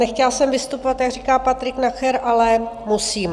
Nechtěla jsem vystupovat, jak říká Patrik Nacher, ale musím.